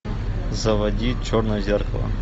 заводи черное зеркало